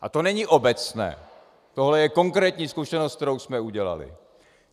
A to není obecné, tohle je konkrétní zkušenost, kterou jsme udělali.